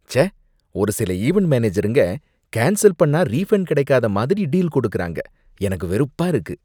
ச்சே! ஒரு சில ஈவண்ட் மேனேஜருங்க கேன்சல் பண்ணா ரீபண்ட் கிடைக்காத மாதிரி டீல் கொடுக்கறாங்க, எனக்கு வெறுப்பா இருக்கு.